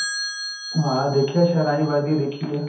ਹਾਂ ਦੇਖਿਆ ਹੈ ਸ਼ਹਿਨਾਈ ਵੱਜਦੀ ਦੇਖੀ ਹੈ